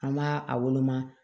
An b'a a woloma